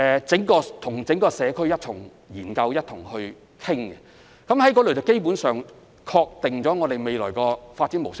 政府與社區人士一同研究及討論後，基本上可確定該區未來的發展模式。